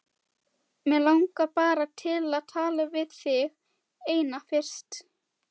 Mig langar bara til að tala við þig eina fyrst.